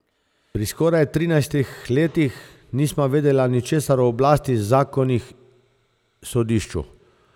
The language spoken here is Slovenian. Pri skoraj trinajstih letih nisva vedeli ničesar o oblasti, zakonih, sodišču.